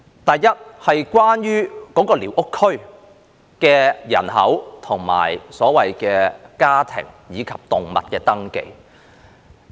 第一，是寮屋區的人口、家庭及動物登記。